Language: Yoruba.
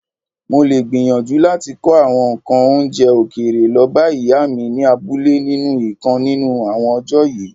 Molè gbìyànjú láti kó àwọn ǹkan oúnjẹ òkèèrè lọbá Ìyá mi ni abúlé nínú ìkan nínú àwọn ọjọ́ yìí.